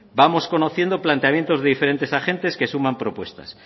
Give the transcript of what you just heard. vamos conociendo planteamientos de diferentes agentes que suman propuestas